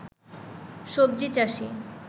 সবজি চাষী